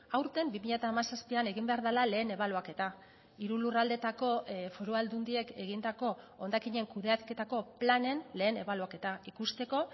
aurten bi mila hamazazpian egin behar dela lehen ebaluaketa hiru lurraldetako foru aldundiek egindako hondakinen kudeaketako planen lehen ebaluaketa ikusteko